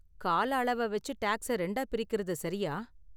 கால அளவ வெச்சு டேக்ஸ ரெண்டா பிரிக்குறது சரியா?